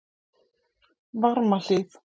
Varmahlíð